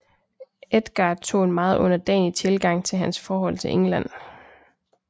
Edgar tog en meget underdanig tilgang til hans forhold til England